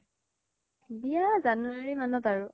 বিয়া january মানত আৰু